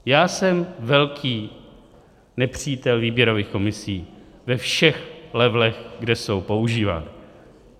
Já jsem velký nepřítel výběrových komisí ve všech levelech, kde jsou používány.